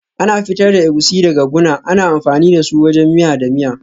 Ana fitar da Egusi daga guna, ana amfani da su wajen miya da miya.